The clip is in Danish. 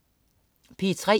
P3: